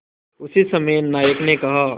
उसी समय नायक ने कहा